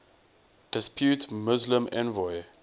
depute muslim envoy